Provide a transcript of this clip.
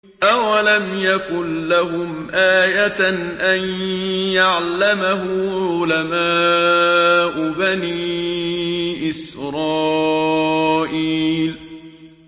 أَوَلَمْ يَكُن لَّهُمْ آيَةً أَن يَعْلَمَهُ عُلَمَاءُ بَنِي إِسْرَائِيلَ